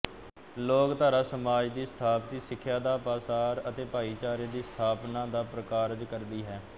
ਲੋਕਧਾਰਾ ਸਮਾਜ ਦੀ ਸਥਾਪਤੀ ਸਿੱਖਿਆ ਦਾ ਪਾਸਾਰ ਅਤੇ ਭਾਈਚਾਰੇ ਦੀ ਸਥਾਪਨਾ ਦਾ ਪ੍ਰਕਾਰਜ ਕਰਦੀ ਹੈ